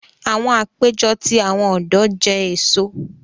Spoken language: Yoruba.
Awọn apejọ ti awọn ọdọ jẹ eso.